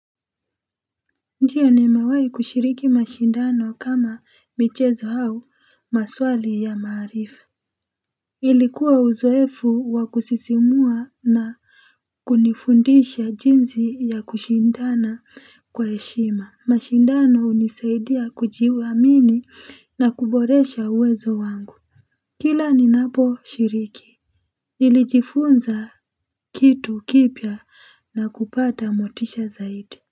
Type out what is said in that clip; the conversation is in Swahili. Ndiyo nimewahi kushiriki mashindano kama michezo au maswali ya maarifa. Ilikuwa uzoefu wa kusisimua na kunifundisha jinsi ya kushindana kwa heshima. Mashindano hunisaidia kujiamini na kuboresha uwezo wangu. Kila ninaposhiriki. Nilijifunza kitu kipya na kupata motisha zaidi.